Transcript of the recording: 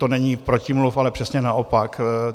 To není protimluv, ale přesně naopak.